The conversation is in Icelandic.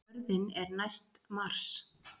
Jörðin er næst Mars!